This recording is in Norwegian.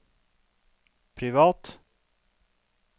privat